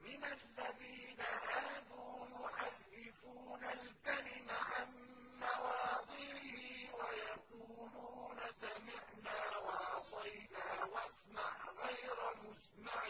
مِّنَ الَّذِينَ هَادُوا يُحَرِّفُونَ الْكَلِمَ عَن مَّوَاضِعِهِ وَيَقُولُونَ سَمِعْنَا وَعَصَيْنَا وَاسْمَعْ غَيْرَ مُسْمَعٍ